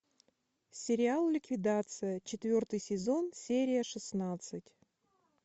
сериал ликвидация четвертый сезон серия шестнадцать